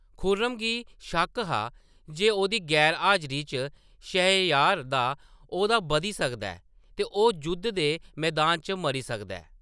खुर्रम गी शक्क हा जे ओह्‌‌‌दी गैर-हाजरी च शहरयार दा औह्‌दा बधी सकदा ऐ ते ओह्‌‌ जुद्ध दे मैदान च मरी सकदा ऐ।